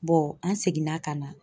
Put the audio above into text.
an seginna ka na